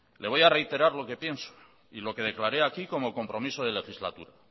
le voy a reiterar lo que pienso y lo que declaré aquí como compromiso de legislatura